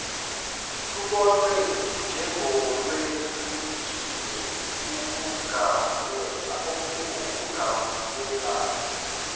lubonwe njengolwehlukile ukungavumelani